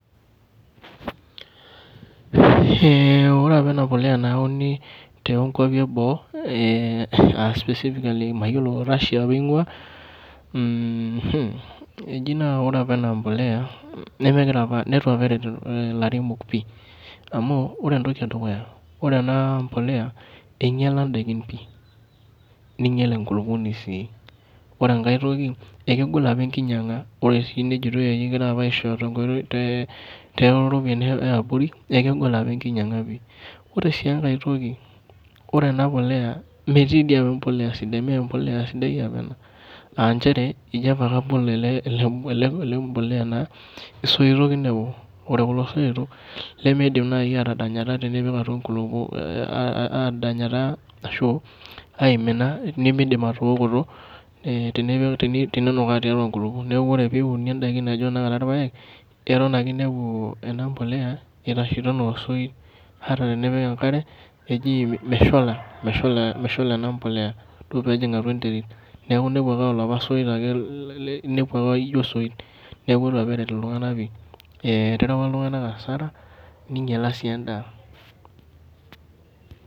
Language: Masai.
Eh ore apa ena bolea naauni too kuapi eboo eh specifically mayiolo Russia apa eingua mm hh, eji naa ore apa ena bolea nemekira apa neitu apa eret ilairemok pi amu ore etoki edukuya ore ena bolea einyiala indaikin pi, ninyial enkulupuoni si. Ore enkae toki ekegol apa ekinyiaga ore si ejitoi kegirae apa aishooyo tenkoitoi too ropiyani eabori ekegol apa ekinyiaga pi. Ore si enkae toki, ore ena bolea metii dii apa ebolea sidai mee ebolea sidai apa ena. Ah nchere ijo apa ake abol ele bole a naa, isoitok inepu ore kulo soitok nemeidim naaji atadanyata tenipik ena aimina nemeidim atookoto eh teninukaa tiatua inkulupuok. Neaku ore pee iunie indaiki naijo tenakata irpaek eton ake inepu ena bolea itashito enoo osoit ata tenipik enkare eji meshula ena bolea duo pee ejing atua enterit, neaku inepu ake aa olapa soit. Neaku itu apa eret iltunganak pi. Eh erewa apa iltunganak asara ninyiala si endaa.